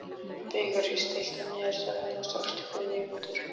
Vigri, stilltu niðurteljara á sextíu og fimm mínútur.